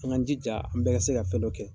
An ga jija, an bɛɛ ka se ka fɛn dɔ kɛ.